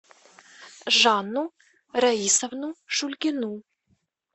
жанну раисовну шульгину